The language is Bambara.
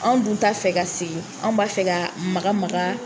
Anw dun t'a fɛ ka segin anw b'a fɛ ka ma ma